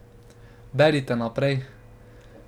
Berite naprej.